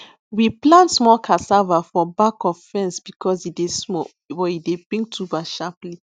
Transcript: we plant small cassava for back of fence because e dey small but e dey bring tuber sharply